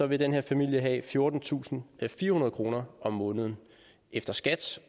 vil den her familie have fjortentusinde og firehundrede kroner om måneden efter skat